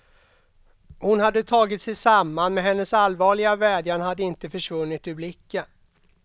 Hon hade tagit sig samman, men hennes allvarliga vädjan hade inte försvunnit ur blicken.